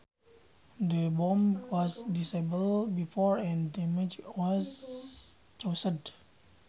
The bomb was disabled before any damage was caused